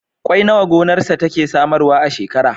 Kwai nawa gonarsa take samarwa a shekara?